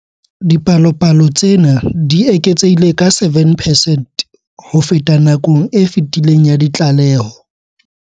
Dipalopalo tsena di eketsehile ka 7 percent ho feta nakong e fetileng ya ditlaleho.